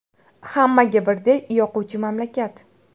Hammaga birdek yoquvchi mamlakat.